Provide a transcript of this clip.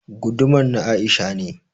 Gudumar na Aisha ne